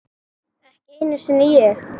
Ekki einu sinni ég!